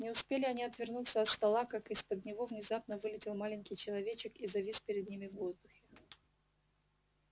не успели они отвернуться от стола как из-под него внезапно вылетел маленький человечек и завис перед ними в воздухе